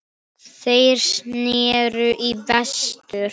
Þeir sneru í vestur.